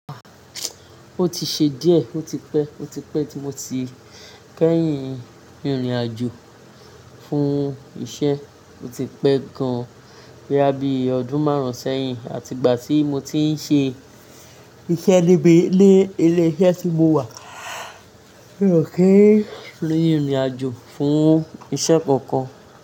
Ah! O ti ṣe díẹ̀, o ti pẹ́, o ti pẹ́ tí mo ti kẹ́yìn ìrìn-àjò fún iṣẹ́, o ti pẹ́ gan-an boya bí ọdún márùn-ún sẹ́yìn àti ìgbà tí mo ti ń ṣe iṣẹ́ níbí ní ilé iṣẹ́ tí mo wà. Kì í ri ìrìn àjò fún iṣẹ́ kankan.